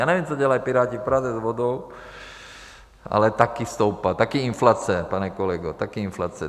Já nevím, co dělají Piráti v Praze s vodou, ale taky stoupla, taky inflace, pane kolego, taky inflace.